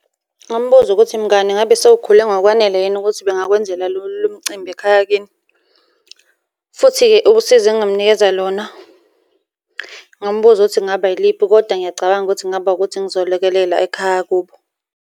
Ngingamubuza ukuthi, mngani ngabe sewukhule ngokwanele yini ukuthi bengakwenzela lo mcimbi ekhaya kini? Futhi-ke usizo engingamunikeza lona, ngingamubuza ukuthi kungaba yiliphi, kodwa ngiyacabanga ukuthi kungaba ukuthi ngizolekelela ekhaya kubo.